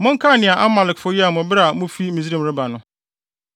Monkae nea Amalekfo yɛɛ mo bere a mufi Misraim reba no.